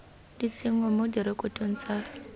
di tsenngwa mo direkotong tsa